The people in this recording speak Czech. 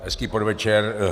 Hezký podvečer.